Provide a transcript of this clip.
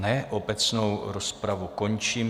Ne, obecnou rozpravu končím.